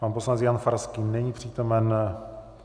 Pan poslanec Jan Farský není přítomen.